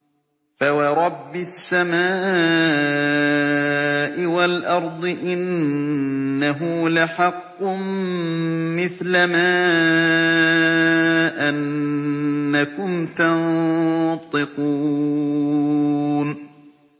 فَوَرَبِّ السَّمَاءِ وَالْأَرْضِ إِنَّهُ لَحَقٌّ مِّثْلَ مَا أَنَّكُمْ تَنطِقُونَ